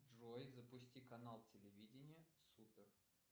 джой запусти канал телевидения супер